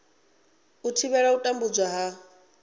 u thivhela u tambudzwa ha